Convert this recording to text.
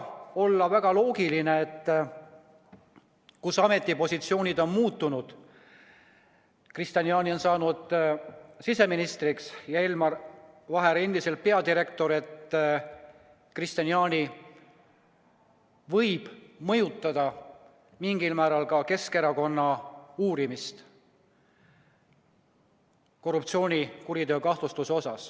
On ehk loogiline, et nüüd, kui ametipositsioonid on muutunud – Kristian Jaani on saanud siseministriks ja Elmar Vaher on endiselt peadirektor –, võib Kristian Jaani mingil määral mõjutada Keskerakonna uurimist seoses korruptsioonikuriteo kahtlustusega.